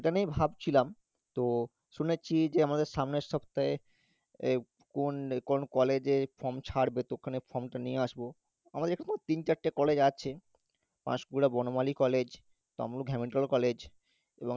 নিয়েই ভাবছিলাম, তো শুনেছি যে আমাদের সামনের সপ্তাহে এই কোন~ কোন college এ form ছাড়বে তো ওখানের form টা নিয়ে আসবো, আমাদের এখানেও তিন চারটে college আছে Panskura Banamali college Tamluk Hamilton college